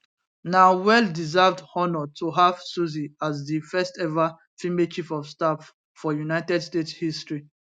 na well deserved honour to have susie as di firsteva female chief of staff for united states history